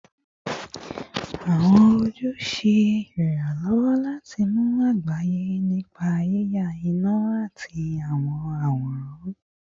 Awọn oju ṣe iranlọwọ lati mọ agbaye nipa yiya ina ati awọn aworan